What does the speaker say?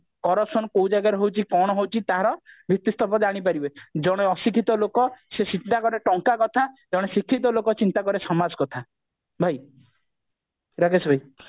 corruption କୋଉ ଜାଗାରେ ହଉଛି କଣ ହଉଛି ତାର ଭିତିସ୍ତମ୍ଭ ଜାଣି ପାରିବେ ଜଣେ ଅଶିକ୍ଷିତ ଲୋକ ସେ ଚିନ୍ତା କରେ ଟଙ୍କା କଥା ଜଣେ ଶିକ୍ଷିତ ଲୋକ ଚିନ୍ତା କରେ ସମାଜ କଥା ଭାଇ ରାକେଶ ଭାଇ